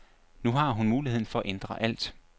Nu har hun muligheden for at ændre alt.